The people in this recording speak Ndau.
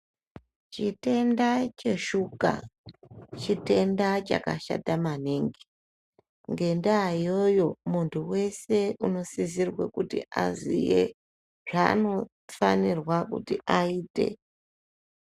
Chitenda cheshuga chitenda chakashata maningi, ngendaa iyoyo muntu wese unosisirwe kuti aziye zvaanofanirwa kuti aite.